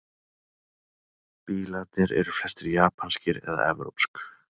Bílarnir eru flestir japanskir eða evrópsk